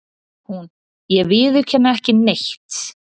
Hún:- Ég viðurkenni ekki neitt.